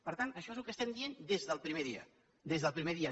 per tant això és el que estem dient des del primer dia des del primer dia